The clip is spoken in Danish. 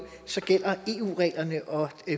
gælder eu reglerne og